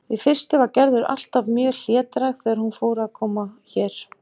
Í fyrstu var Gerður alltaf mjög hlédræg þegar hún fór að koma hér.